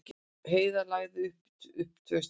Heiðar lagði upp tvö í sigri